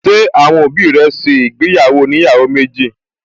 Ṣé àwọn òbí rẹ̀ ṣe ìgbéyàwó oníyàwó méjì?